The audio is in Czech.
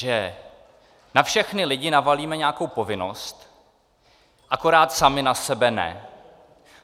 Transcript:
Že na všechny lidi navalíme nějakou povinnost, akorát sami na sebe ne.